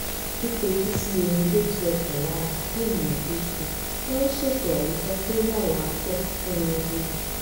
fífetísí orin tó tu ọkàn lára kí ènìyàn tó sùn máa ń ṣètò àyíká tó ní àlàáfíà fún oorun